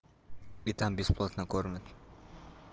и там бесплатно кормят